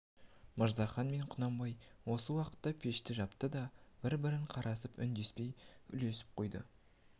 мырзахан мен құнанбай осы уақытта пешті жапты да бір-біріне қарасып үндеспей күлісіп қойды